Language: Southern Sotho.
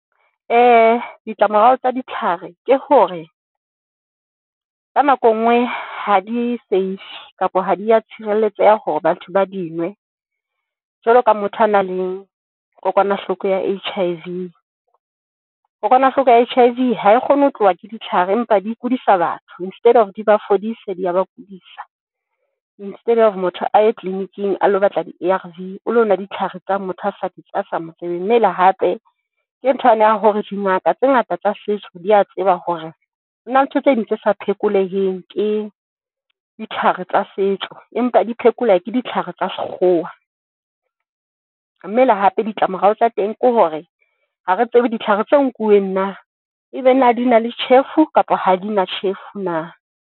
Ditlamorao tsa ditlhare ke hore, ka nako e nngwe ha di safe kapa ha di a tshireletseha hore batho ba di nwe jwalo ka motho a nang le kokwanahloko ya H_I_V, kokwanahloko ya H_I_V hae kgone ho tloha ke ditlhare empa di kudisa batho. Instead of di ba fodise di a ba kudisa. Instead of motho a ye clinic-ing a lo batla di-A_ R_ V o lo nwa ditlhare tsa motho a sa di a sa mo tsebeng, mmele hape ke ntho yane ya hore dingaka tse ngata tsa setso, di a tseba hore na ntho tse ding tse sa phekoleheng, ke ditlhare tsa setso empa di phekoleha ke ditlhare tsa sekgowa. Mme le hape ditlamorao tsa teng ke hore ha re tsebe ditlhare tse nkuweng na e be na di na le tjhefu kapa ha di na tjhefu na?